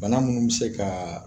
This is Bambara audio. Bana munnu bi se kaa